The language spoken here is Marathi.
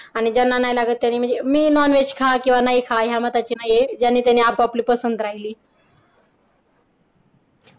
आणि ज्यांना नाही लागत म्हणजे मी नॉनव्हेज खा किंवा नाही खा या मताची नाही ज्याने त्याने आपापली पसंत राहिली.